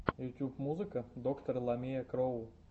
ютуб музыка доктор ламия кроу